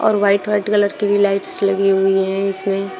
और white white colour की भी लाइट्स लगी हुई हैं इसमें।